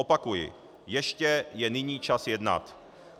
Opakuji, ještě je nyní čas jednat.